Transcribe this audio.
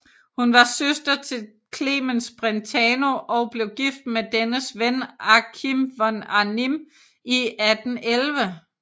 Hun var søster til Clemens Brentano og blev gift med dennes ven Achim von Arnim i 1811